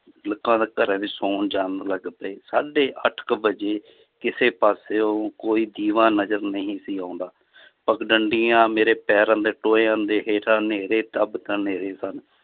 ਲੋਕਾਂ ਘਰੇ ਵੀ ਸੌਣ ਜਾਣ ਲੱਗ ਪਏ ਸਾਢੇ ਅੱਠ ਕੁ ਵਜੇ ਕਿਸੇ ਪਾਸਿਓ ਕੋਈ ਦੀਵਾ ਨਜ਼ਰ ਨਹੀਂ ਸੀ ਆਉਂਦਾ ਪੱਗਡੰਡੀਆਂ ਮੇਰੇ ਪੈਰਾਂ ਦੇ ਟੋਇਆਂ ਦੇ ਹੇਠਾਂ ਸਨ l